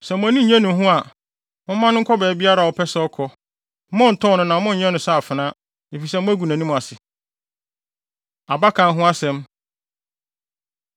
Sɛ mo ani nnye ne ho a, momma no nkɔ baabiara a ɔpɛ sɛ ɔkɔ. Monntɔn no na monnyɛ no sɛ afenaa, efisɛ moagu nʼanim ase. Abakan Ho Asɛm